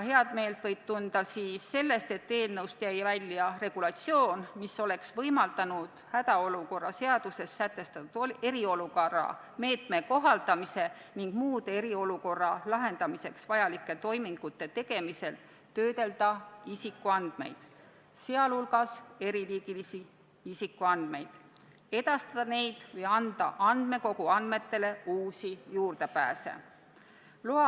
Heameelt võib tunda selle üle, et eelnõust jäi välja regulatsioon, mis oleks võimaldanud hädaolukorra seaduses sätestatud eriolukorra meetme kohaldamisel ning muude eriolukorra lahendamiseks vajalike toimingute tegemisel töödelda isikuandmeid, sh eriliigilisi isikuandmeid, ning neid edastada või anda andmekogu andmetele juurdepääsuks uusi lubasid.